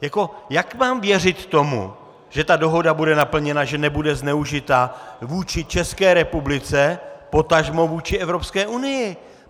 Jak mám věřit tomu, že ta dohoda bude naplněna, že nebude zneužita vůči České republice, potažmo vůči Evropské unii?